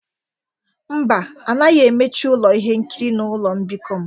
Mba, a naghị emechi ụlọ ihe nkiri na ụlọ mbikọ m.